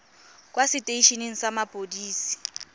kwa setei eneng sa mapodisi